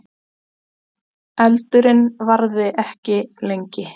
Eldurinn varði ekki lengi